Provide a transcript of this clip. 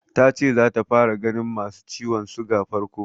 Ta ce zata fara ganin masu ciwon siga farko.